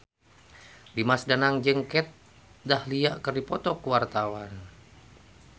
Dimas Danang jeung Kat Dahlia keur dipoto ku wartawan